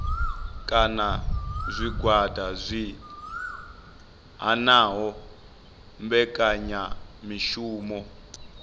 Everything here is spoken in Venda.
kana zwigwada zwi hanaho mbekanyamishumo